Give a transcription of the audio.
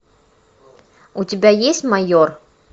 у тебя есть майор